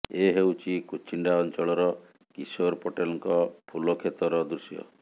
ଏ ହେଉଛି କୁଚିଣ୍ଡା ଅଞ୍ଚଳର କିଶୋର ପଟେଲଙ୍କ ଫୁଲ କ୍ଷେତର ଦୃଶ୍ୟ